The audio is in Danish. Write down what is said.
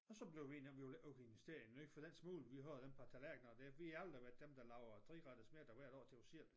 Og så blev vi enige om vi ville ikke ud og investere i en ny for den smule vi har den smule tallerkener og det vi har aldrig været dem der laver 3 retters hvert og været til dessert